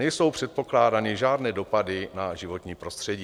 Nejsou předpokládány žádné dopady na životní prostředí.